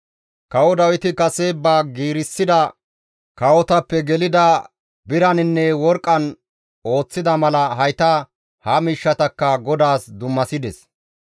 Kawo Dawiti kase ba giirissida kawotappe gelida biraninne worqqan ooththida mala hayta ha miishshatakka GODAAS dummasides.